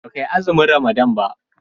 baka yi azumin ramadana ba?